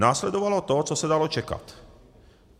Následovalo to, co se dalo čekat.